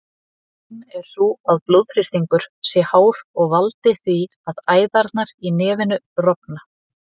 Ein er sú að blóðþrýstingur sé hár og valdi því að æðarnar í nefinu rofna.